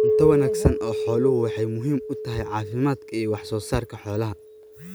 Cunto wanaagsan oo xooluhu waxay muhiim u tahay caafimaadka iyo wax soo saarka xoolaha.